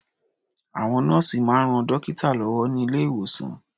Àwọn nọ́ọ̀sì máa ń ran dọ́kítà lọ́wọ́ ní ilé-ìwòsàn.